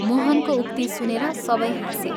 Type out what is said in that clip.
" मोहनको उक्ति सुनेर सबै हाँसे।